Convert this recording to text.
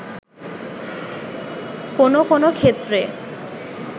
কোন কোন ক্ষেত্রে